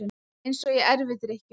Eins og í erfidrykkjunni.